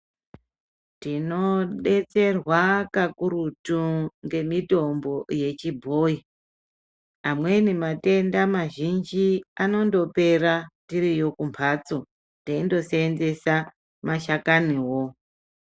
Tinobetserwa kakurutu ngemitombo yechibhoi. Amweni matenda mazhinji anondopera tiriyo kumhatso, teindosenzesa mashakani wo.